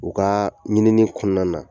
U kaa ɲinini kɔɔna na